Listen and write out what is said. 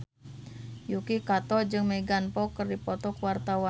Yuki Kato jeung Megan Fox keur dipoto ku wartawan